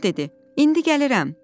Gülaçar dedi: İndi gəlirəm.